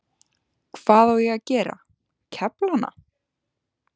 Hvað á ég að gera, kefla hana?